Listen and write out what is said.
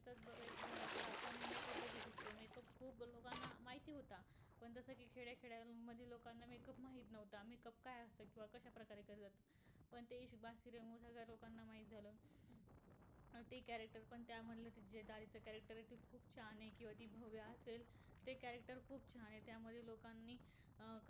ते character पण त्यामध्ये दादीच character खूप खूप छान आहे. किंवा भव्व्या असेल ते character खूप छान आहे. त्यामध्ये लोकांनी